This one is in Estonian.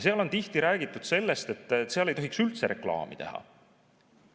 Tihti on räägitud sellest, et seal ei tohiks üldse reklaami teha.